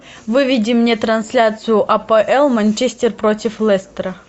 выведи мне трансляцию апл манчестер против лестера